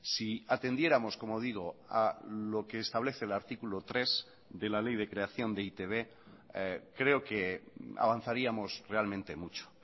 si atendiéramos como digo a lo que establece el artículo tres de la ley de creación de e i te be creo que avanzaríamos realmente mucho